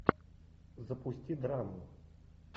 запусти драму